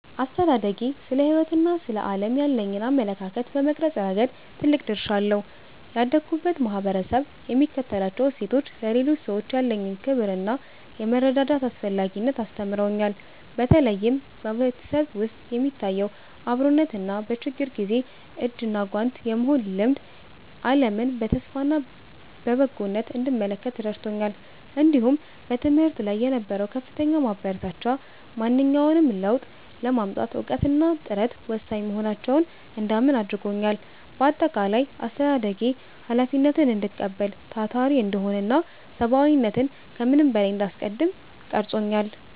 አስተዳደጌ ስለ ሕይወትና ስለ ዓለም ያለኝን አመለካከት በመቅረጽ ረገድ ትልቅ ድርሻ አለው። ያደግሁበት ማኅበረሰብ የሚከተላቸው እሴቶች፣ ለሌሎች ሰዎች ያለኝን ክብርና የመረዳዳት አስፈላጊነትን አስተምረውኛል። በተለይም በቤተሰብ ውስጥ የሚታየው አብሮነትና በችግር ጊዜ እጅና ጓንት የመሆን ልማድ፣ ዓለምን በተስፋና በበጎነት እንድመለከት ረድቶኛል። እንዲሁም በትምህርት ላይ የነበረው ከፍተኛ ማበረታቻ፣ ማንኛውንም ለውጥ ለማምጣት እውቀትና ጥረት ወሳኝ መሆናቸውን እንዳምን አድርጎኛል። በአጠቃላይ፣ አስተዳደጌ ኃላፊነትን እንድቀበል፣ ታታሪ እንድሆንና ሰብዓዊነትን ከምንም በላይ እንዳስቀድም ቀርጾኛል።